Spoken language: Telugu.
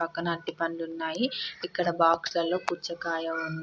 పక్కన అరటి పళ్ళు ఉన్నాయి. ఇక్కడ బాక్సు లో ఒక పుచ్చకాయ ఉంది.